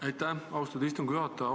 Aitäh, austatud istungi juhataja!